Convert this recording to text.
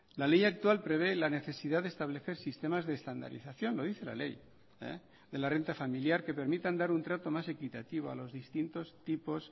la ley actual prevé la necesidad de establecer sistemas de estandarización lo dice la ley de la renta familiar que permitan dar un trato más equitativo a los distintos tipos